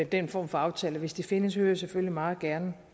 den form for aftale hvis de findes vil jeg selvfølgelig meget gerne